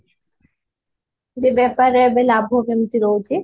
ଯେ ବେପାରରେ ଲାଭ କେମତି ରହୁଛି?